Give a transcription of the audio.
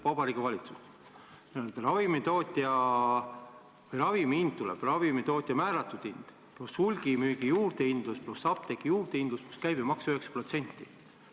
Ravimi hinna moodustavad ravimitootja määratud hind pluss hulgimüügi juurdehindlus pluss apteegi juurdehindlus pluss käibemaks 9%.